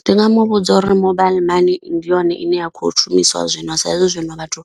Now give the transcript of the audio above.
Ndi nga muvhudza uri mobile money ndi yone ine ya khou shumisiwa zwino sa izwi zwino vhathu